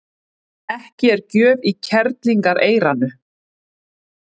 Ekki er gjöf í kerlingareyranu.